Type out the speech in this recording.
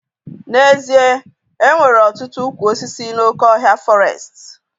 N'ezie, enwere ọtụtụ ụkwụ osisi n'oké ọhịa fọrestị